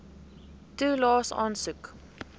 toelaes aansoek